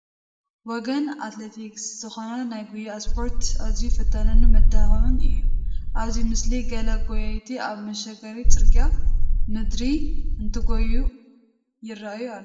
ወገን ኣትሌቲክስ ዝኾነ ናይ ጉያ ስፖርቲ ኣዝዩ ፈታንን መድከምን እዩ፡፡ ኣብዚ ምስሊ ገለ ጐየይቲ ኣብ መሸገሪ ገፀ ምድሪ እንትጐዩ ይርአዩ ኣለዉ፡፡